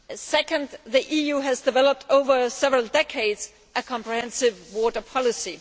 Second, the EU has developed over several decades a comprehensive water policy.